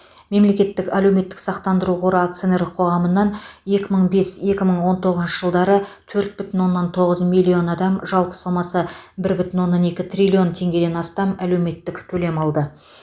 мемлекеттік әлеуметтік сақтандыру қоры акционерлік қоғамынан екі мың бес екі мың он тоғызыншы жылдары төрт бүтін оннан тоғыз миллион адам жалпы сомасы бір бүтін оннан екі триллион теңгеден астам әлеуметтік төлем алды